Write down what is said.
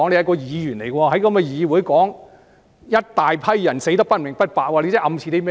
他作為一位議員，竟在議會上說"一大批人死得不明不白"，他這是暗示甚麼呢？